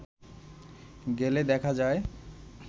গেলে দেখা যায়